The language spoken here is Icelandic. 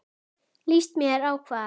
Líst mér á hvað?